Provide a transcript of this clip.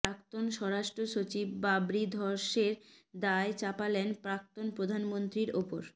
প্রাক্তন স্বরাষ্ট্র সচিব বাবরি ধ্বংসের দায় চাপালেন প্রাক্তন প্রধানমন্ত্রীর ওপর